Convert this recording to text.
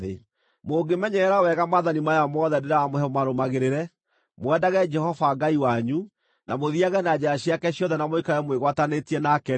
Mũngĩmenyerera wega maathani maya mothe ndĩramũhe mũmarũmagĩrĩre, mwendage Jehova Ngai wanyu, na mũthiage na njĩra ciake ciothe na mũikarage mwĩgwatanĩtie nake-rĩ,